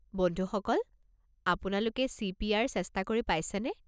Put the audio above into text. বন্ধুসকল, আপোনালোকে চি.পি.আৰ. চেষ্টা কৰি পাইছেনে?